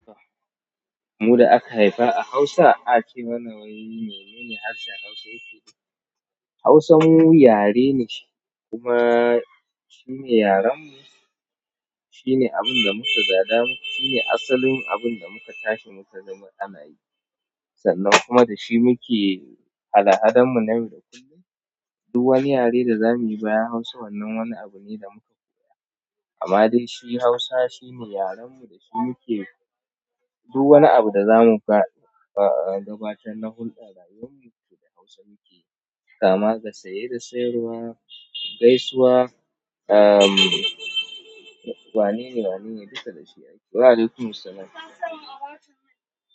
Mu da aka haifa a Hausa, ace mana wai, menene harshen Hausa yake nufi. Hausa mu yare ne, kuma shine yaren mu, shine abun da muka gada, shine asalin abin da muka tashi muka gani ana yi. Sannan kuma da shi muke hada-hadan mu na yau da kullum. Duk wani yare da zamuyi bayan Hausa wannan wani abu ne da muka koya. Amma dai shi Hausa shine yaren mu, da shi muke duk wani abu da zamu faɗa. A gabatar da hulɗar rayuwanmu, da Hausa mukeyi, kama da saye da sayarwa, gaisuwa, umm, wane ne wane ne duka da shi ake.